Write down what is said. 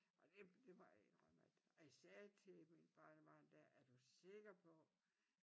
Og det det må jeg indrømme at jeg sagde til mit barnebarn der er du sikker på